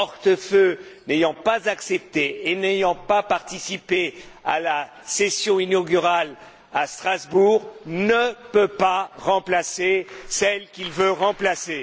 Hortefeux, n'ayant pas accepté et n'ayant pas participé à la session inaugurale à Strasbourg, ne peut pas remplacer celle qu'il veut remplacer.